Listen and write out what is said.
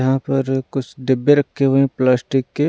यहाँ पर कुछ डिब्बे रखे हुए हैं प्लास्टिक के।